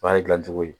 O y'a dilan cogo ye